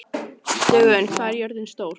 Dögun, hvað er jörðin stór?